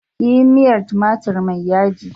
Yi miya tumatir mai yaji!